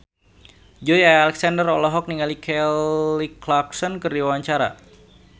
Joey Alexander olohok ningali Kelly Clarkson keur diwawancara